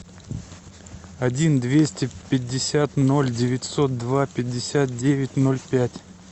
один двести пятьдесят ноль девятьсот два пятьдесят девять ноль пять